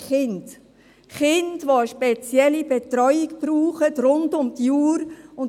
Kinder, die rund um die Uhr eine spezielle Betreuung brauchten.